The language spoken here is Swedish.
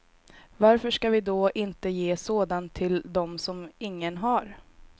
Varför ska vi då inte ge sådan till dem som ingen har?